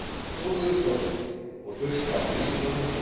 Þórður Þórðarson: Og hlusta á vísindamenn?